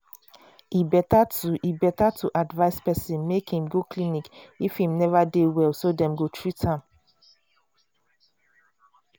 e better to e better to advise person make im go clinic if im neva dey well so dem go treat am